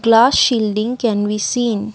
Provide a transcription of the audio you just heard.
glass shielding can we seen.